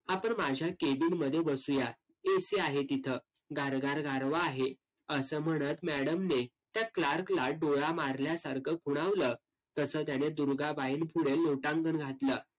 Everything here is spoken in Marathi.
आपण माझ्या cabin मध्ये बसुया. AC आहे तिथं. गारगार गारवा आहे. असं म्हणत madam ने त्या clerk ला डोळा मारल्यासारखं खुणावलं तसं त्याने दुर्गाबाईंपुढे लोटांगण घातलं.